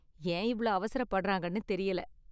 ஏன் இவ்ளோ அவசரப்படுறாங்கனு தெரியல.